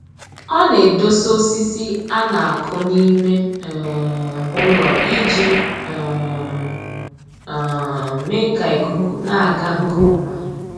Ọ na-edosa osisi a na-akụ n'ime um ụlọ iji um um mee ka ikuku na-aga nke ọma